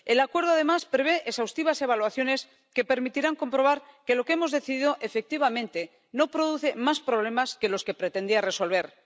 El acuerdo, además, prevé exhaustivas evaluaciones que permitirán comprobar que lo que hemos decidido, efectivamente, no produce más problemas que los que pretendía resolver.